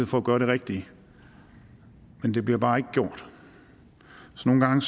for at gøre det rigtige men det bliver bare ikke gjort så nogle gange